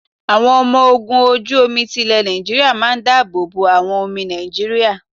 Àwọn ọmọ ogun ojú omi ti lè Nàìjíríà máa ń dá àbọ̀ bo àwọn omi Nàìjíríà.